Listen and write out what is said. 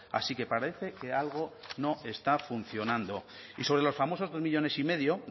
así que parece que algo no está funcionando y sobre los famosos dos millónes y medio